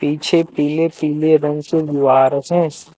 पीछे पीले पीले रंग के ग़ुआरस हैं।